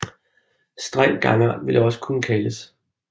Streng gangart ville det også kunne kaldes